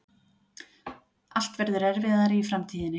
Allt verður erfiðara í framtíðinni.